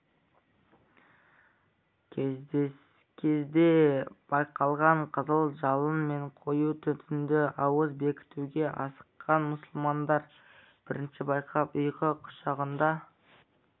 кезде байқалған қызыл жалын мен қою түтінді ауыз бекітуге асыққан мұсылмандар бірінші байқап ұйқы құшағында